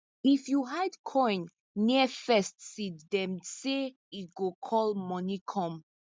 if you hide coin near first seed dem say e go call money come